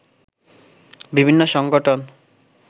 বিভিন্ন সংগঠন